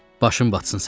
Başın batsın sənin.